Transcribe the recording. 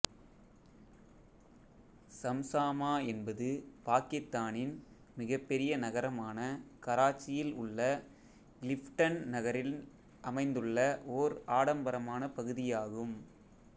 சம்சாமா என்பது பாக்கித்தானின் மிகப்பெரிய நகரமான கராச்சியில் உள்ள கிளிஃப்டன் நகரில் அமைந்துள்ள ஓர் ஆடம்பரமான பகுதியாகும்